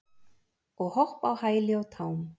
og hopp á hæli og tám.